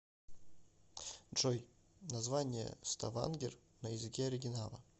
джой название ставангер на языке оригинала